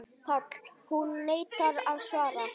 PÁLL: Hún neitar að svara.